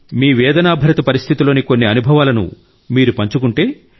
మీ వేదనాభరిత పరిస్థితిలోని కొన్ని అనుభవాలను మీరు పంచుకుంటే